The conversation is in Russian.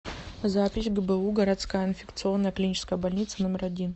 запись гбу городская инфекционная клиническая больница номер один